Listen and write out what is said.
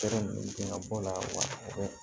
ninnu tɛ ka bɔ a la wa